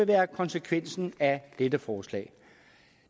være konsekvensen af dette forslag